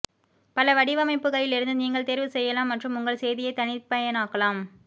பல வடிவமைப்புகளிலிருந்து நீங்கள் தேர்வு செய்யலாம் மற்றும் உங்கள் செய்தியை தனிப்பயனாக்கலாம்